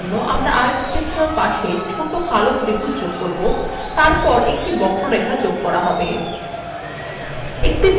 জল বোঝানোর জন্য আমরা আয়তক্ষেত্রের পাশে ছোট কালো ত্রিভুজ যোগ করবো তারপর একটি বক্ররেখা যোগ করা হবে